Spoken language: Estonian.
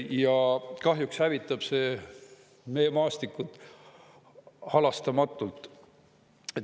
Ja kahjuks hävitab see meie maastikku halastamatult.